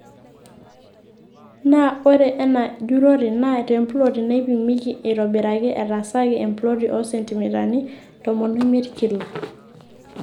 Naa ore ena jurrore naa temploti naipimiki aaitobiraki etaasaki emploti oo sentimitani tomon omiet kila.